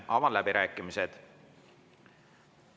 Avan läbirääkimised.